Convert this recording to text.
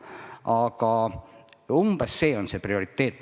Aga umbes selline on prioriteet.